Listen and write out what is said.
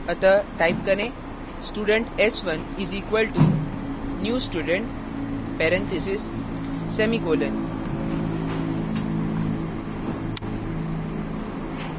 अतः type करें student s1 is equal to new student parentheses semicolon